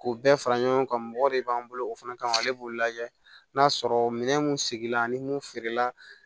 K'u bɛɛ fara ɲɔgɔn kan mɔgɔ de b'an bolo o fana kama ale b'o lajɛ n'a sɔrɔ minɛn mun sigi la ani mun feerela